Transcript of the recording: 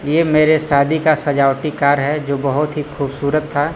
ये मेरे शादी का सजावटी कार्ड है जो बहोत ही खूबसूरत था--